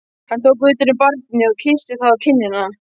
Hann tók utan um barnið og kyssti það á kinnina.